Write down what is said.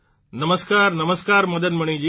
નમસ્કાર નમસ્કાર મદન મણિજી